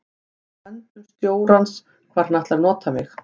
Það er í höndum stjórans hvar hann ætlar að nota mig.